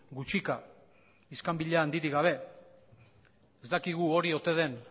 gutxika iskanbila handirik gabe ez dakigu hori ote den